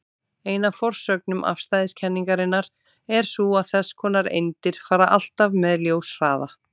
Ein af forsögnum afstæðiskenningarinnar er sú að þess konar eindir fara alltaf með ljóshraða.